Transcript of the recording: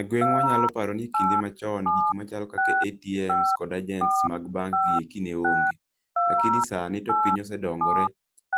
E gweng wa anya paro ni kinde ma chon gik machalo kaka atms kod agents mag banks gi ne onge lakini sa ni to piny oselokore